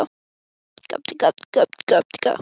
Óskar hellti aftur í glösin hjá þeim Birni.